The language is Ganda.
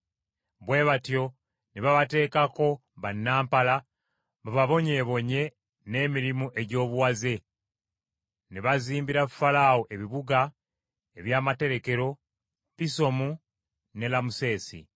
Bwe batyo ne babateekako bannampala bababonyeebonye n’emirimu egy’obuwaze; ne bazimbira Falaawo ebibuga eby’amaterekero, Pisomu ne Lamusesi.